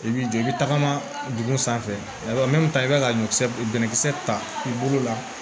I b'i jɔ i bɛ tagama dugu sanfɛ i bɛ ka ɲɔ bɛnnkisɛ ta i bolo la